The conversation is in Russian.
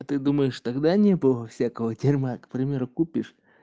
а ты думаешь тогда не было всякого дерьма к примеру купишь